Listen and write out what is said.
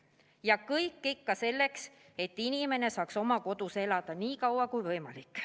Ja kõik ikka selleks, et inimene saaks oma kodus elada nii kaua kui võimalik.